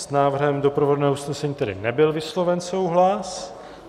S návrhem doprovodného usnesení tedy nebyl vysloven souhlas.